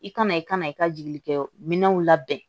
I kana i kana i ka jigikɛ minɛnw labɛn